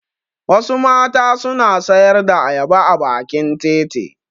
Wasu mata suna sayar da ayaba a bakin titi.